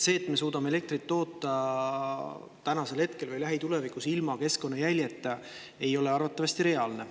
See, et me suudame elektrit toota tänasel hetkel või lähitulevikus ilma keskkonnajäljeta, ei ole arvatavasti reaalne.